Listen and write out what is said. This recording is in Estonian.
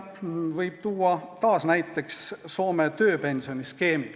Taas võib tuua näiteks Soome tööpensioniskeemi.